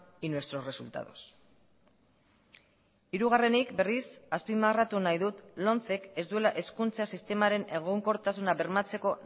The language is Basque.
y nuestros resultados hirugarrenik berriz azpimarratu nahi dut lomcek ez duela hezkuntza sistemaren egonkortasuna bermatzeko